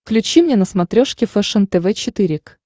включи мне на смотрешке фэшен тв четыре к